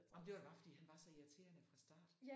Ej men det var da bare fordi han var så irriterende fra start